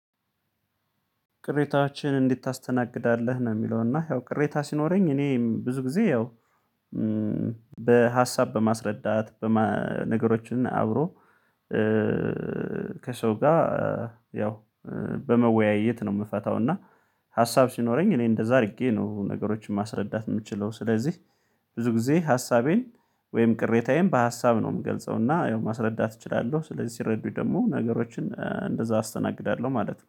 ቅሬታዎችህን እንዴት ታስተናግዳለህ? ነው የሚለው እና ያው ቅሬታ ሲኖረኝ እኔም ብዙ ጊዜ ያው በሀሳብ በማስረዳት በነገሮችን አብሮ ከሰው ጋር ያው በመወያየት ነው የምፈታው እና ሀሳብ ሲኖረኝ እኔ እንደዛ አድርጌ ነው ነገሮችን ማስረዳት የምችለው ስለዚህ ብዙ ጊዜ ሀሳቤን ወይም ቅሬታዬን በሀሳብ ነው የምገልጸው እና ያው ማስረዳት እችላለሁ ስለዚህ ሲረዱኝ ደግሞ ነገሮችን እንደዛ አስተናግዳለሁ ማለት ነው።